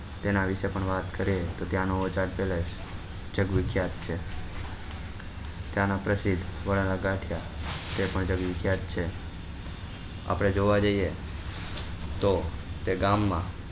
તેના વિશે પણ વાત કરીએ તો ત્યાં નો તે તેના પ્રસિદ્ધ વારના ગાંઠિયા આપડે જોવા જઈએ તો તે ગામ માં